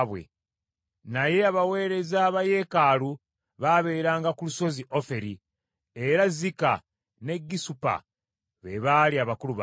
Naye abaweereza ba yeekaalu baabeeranga ku lusozi Oferi, era Zika ne Gisupa be baali abakulu baabwe.